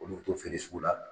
Olu bi t'o feere sugu la.